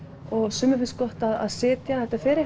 sumum finnst gott að sitja